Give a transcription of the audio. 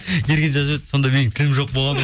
ерген жазып жіберіпті сонда менің тілім жоқ болған